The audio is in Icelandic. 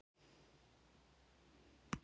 Ekki nema konan á skiptiborðinu bregði sér frá.